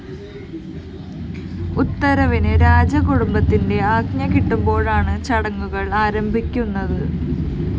ഉത്സവത്തിന് രാജകുടുംബത്തിന്റെ ആജ്ഞ കിട്ടുമ്പോഴാണ് ചടങ്ങുകള്‍ ആരംഭിക്കുന്നത്